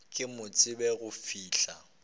ke mo tsebe go fihla